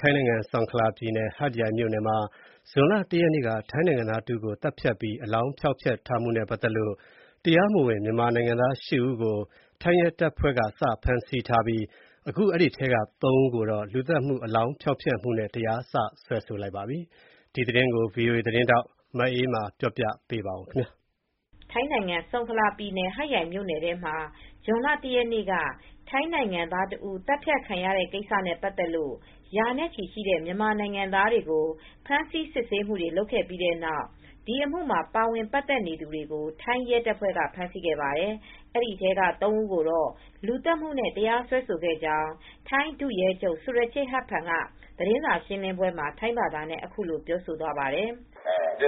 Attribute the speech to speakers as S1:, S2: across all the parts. S1: ထိုင်းနိုင်ငံ ဆုန်ခလာပြည်နယ် ဟတ်ယိုင်မြို့နယ်မှာ ဇွန်လ ၁ ရက်က ထိုင်းနိုင်ငံသားတဦးကိုသတ်ဖြတ်ပြီး အလောင်းဖျောက်ဖျက်ထားတဲ့အတွက် အထောက်အထားမဲ့ မြန်မာနိုင်ငံသား ၈ ဦးကို ထိုင်းရဲတပ်ဖွဲ့က ဖမ်းဆီးထားပြီး အဲဒီထဲက ၃ ဦိးကိုတော့ လူသတ်မှု၊ အလောင်းဖျောက်ဖျက်မှုနဲ့ တရားစွဲဆိုလိုက်ပါတယ်။ ဒီသတင်းကို ဗွီအိုအေသတင်းထောက် မအေးအေးမာက သတင်းပေးပို့ထားပါတယ်။
S2: ထိုင်းနိုင်ငံ ဆုန်ခလာပြည်နယ် ဟတ်ယိုင်မြို့နယ်မှာ ဇွန်လ ၁ ရက်က ထိုင်းနိုင်ငံသားတဦး သတ်ဖြတ်ခံရတဲ့ကိစ္စနဲ့ပတ်သက်လို့ ရာနဲ့ချီရှိတဲ့မြန်မာနိုင်ငံသားတွေကိုဖမ်းဆီးစစ်ဆေးခဲ့ပြီး ဒီအမှုမှာ ပါဝင်ပတ်သက်သူတွေကို ထိုင်းရဲတပ်ဖွဲက ဖမ်းဆီးခဲ့ပါတယ်။ ဒီထဲက ၃ ဦးကိုတော့ လူသတ်မှုနဲ့တရားစွဲဆိုခဲ့ကြောင်း ထိုင်းဒုရဲချုပ် ဆူရချေ ဟတ်ဖန်က သတင်းစာရှင်းလင်းပွဲမှာ ထိုင်းဘာသာနဲ့ ပြောသွားပါတယ်။ “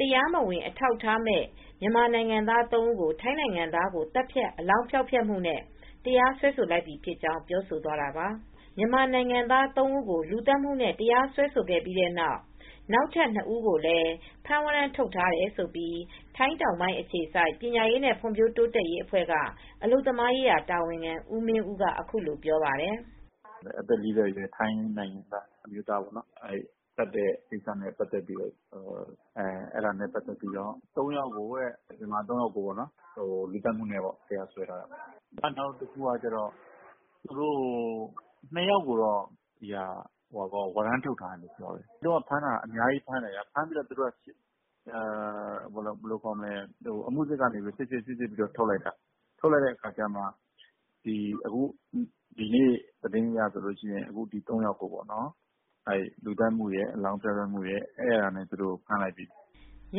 S2: တရားမဝင် အထောက်အထားမဲ့ မြန်မာ ၃ ဦးကို ထိုင်းနိုင်ငံသားကို သတ်ဖြတ် အလောင်းဖျောက်ဖျက်မှုနဲ့ တရာစွဲဆို” လိုက်ပြီဖြစ်ကြောင်းပြောဆိုသွားတာပါ။ မြန်မာနိုင်ငံသား ၃ ဦးကို လူသတ်မှုနဲ့တရားစွဲဆိုခဲ့ပြီးတဲ့နောက် နောက်ထပ်၂ ဦးကိုလည်း ဖမ်းဝရမ်းထုတ်ထားတယ်လို့ ထိုင်းတောင်ပိုင်းအခြေစိုက် ပညာရေးနဲ့ ဖွံဖြိုးတိုးတက်ရေးဖောင်ဒေးရှင်းက အလုပ်သမားရေးရာတာဝန်ခံ ဦးမင်ဦးက အခုလိုပြောပြပါတယ်။
S1: “အသက် ၄၀ အရွယ် ထိုင်းနိုင်ငံသားအမျိုးသားပေါ့နော်-အသတ်ခံရတဲ့ကိစ္စနဲ့ပတ်သက်ပြီး မြန်မာ ၃ ယောက်ကို လူသတ်မှုနဲ့တရားစွဲထားတာပေါ့နော်၊ နောက်တခုကကျတော့ ၂ ယောက်ကိုတော့ ဝရမ်းထုတ်ထားတယ်ပြောတယ်။ အဲဒီတုန်းက ဖမ်းတာကတော့ အများကြီးဖမ်းတယ်။ အမှုစစ်က စစ်ပြီး ထုတ်ပစ်လိုက်တာ။ ထုတ်လိုက်ပြီး ဒီနေ့သတင်းအရ အဲဒီထဲကမှ ၃ ယောက်ကိုတော့ လူသတ်မှု၊ အလောင်းဖျောက်ဖျက်မှုတွေနဲ့ဖမ်းလိုက်ပြီ။
S2: ” မြ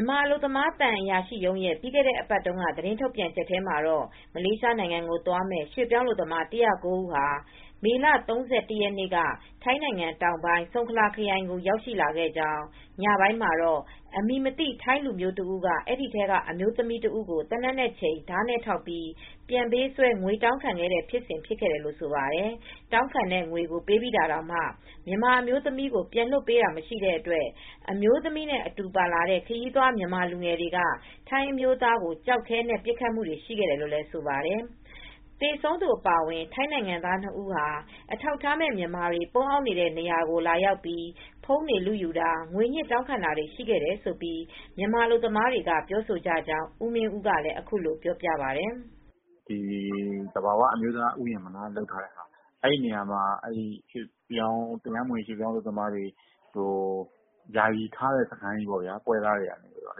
S2: န်မာအလုပ်သမားသံအရာရှိရုံးရဲ ပြီးခဲ့ဲ့တဲ့အပတ်က သတင်းထုတ်ပြန်ချက်မှာတော့ မလေးရှားနိုင်ငံကိုသွားမယ့် ရွှေပြောင်းအလုပ်သမား ၁၀၉ ဦးဟာ မေလ ၃၁ ရက်နေ့က ထိုင်းနိုင်ငံတောင်ပိုင်း ဆုန်ခလာခရိုင်ကို ရောက်ရှိလာခဲ့ကြောင်း၊ ညပိုင်းမှာတော့ အမည်မသိ ထိုင်းလူမျိုးတဦးက အဲဒီထဲကအမျိုးသမီးတဦးကို သေနတ်နဲ့ချိန်၊ ဓါးနဲ့ထောက်ပြီး ပြန်ပေးဆွဲ၊ ငွေတောင်းခံခဲ့တယ်လို့ဆိုပါတယ် ။ တောင်းခံတဲ့ငွေကိုပေးပြီးတာတောင် မြန်မာအမျိုးသမီးကို ပြန်လွှတ်မပေးတဲ့အတွက် အမျိုးသမီးနဲ့အတူပါလာတဲ့ ခရီးသွားမြန်မာလူငယ်တွေက ထိုင်းအမျိုးသားကို ကျောက်ခဲနဲ့ပစ်ခတ်ခဲ့တယ်လို့ဆိုပါတယ်။ သေဆုံးသူအပါအဝင် ထိုင်းနိုင်ငံသား ၂ ဦးဟာ အထောက်အထားမဲ့မြန်မာတွေ ပုန်းအောင်းနေတဲ့နေရာကိုလာပြီး ဖုန်းတွေလုတာေ၊ ငွညှစ်တောင်းခံတာတွေရှိခဲ့တယ်လို့ မြန်မာအလုပ်သမားတွေကပြောဆိုကြကြောင်း ဦးမင်းဦးက အခုလိုပြောပါတယ်
S1: ။ “သဘာဝအမျိုးသားဥယျာဉ်လုပ်ထားတဲ့နေရာမှာ တရားမဝင် ရွှေ့ပြောင်းအလုပ်သမားတွေအတွက် ယာယီလုပ်ထားတဲ့စခန်းရှိတယ်။ လူပွဲစားတွေကထားထားတာပါ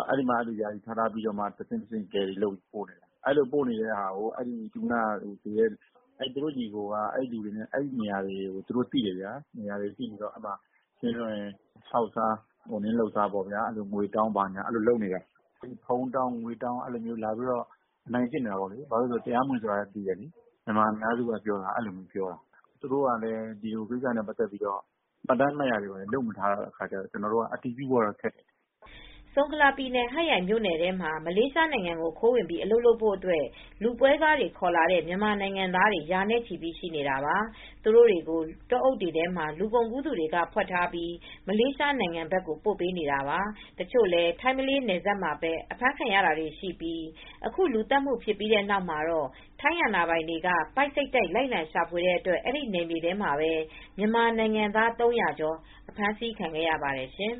S1: ။ အဲဒီမှာထားပြီး တဆင့်တဆင့် ကယ်ရီလုပ်ပြီးပို့တာပါ။ အဲဒီလိုပို့တာကို သေတဲ့သူနဲ့ သူတို့ညီအကိုက အဲဒီနေရာကိုသိတယ်။ အဲဒီနေရာမှာ သူတို့ကဟောက်စားခြောက်စားပြီး ငွေတောင်းတာ၊ ဖုန်းတောင်းတာတွေလုပ်နေတာလို့မြန်မာအများစုကပြောတယ်။ သူတို့က ဒီလူတွေကို တရားမဝင်လူတွေမှန်းလည်း သိတယ်။ သူတို့ကတော့ အဲဒီလိုလုပ်တာကို မှတ်တမ်းမှတ်ရာနဲ့လုပ်ထားတာမရှိတော့လည်း အတည်ပြုဖို့ခက်တယ်။”
S2: ဆုံခလာပြည်နယ် ဟတ်ရိုင်မြို့နယ်ထဲမှာ မလေးရှားနိုင်ငံကို ခိုးဝင်ပြီးအလုပ်လုပ်ဖို့အတွက် လူပွဲစားတွေ ခေါ်လာတဲ့မြန်မာနိုင်ငံသားတွေ ရာနဲ့ချီရှိနေတာပါ။ သူတို့တွေကို တောအုပ်တွေထဲမှာလူကုန်ကူးသူတွေက ဖွက်ထားပြီး မလေးရှားနိုင်ငံကိုပို့ပေးနေတာပါ။ တချို့လည်း ထိုင်းမလေးနယ်စပ်မှာပဲ အဖမ်းခံရတာတွေရှိပြီး အခုလူသတ်မှုဖြစ်ပြီးတဲ့နောက်မှာတော့ ထိုင်းအာဏာပိုင်တွေက ပိုက်စိတ်တိုက် လိုက်လံရှာဖွေတဲ့အတွက် အဲဒီနယ်မြေထဲမှာပဲ မြန်မာနိုင်ငံသား ၃၀၀ ကျော် အဖမ်းဆီးခံခဲ့ရပါတယ်ရှင်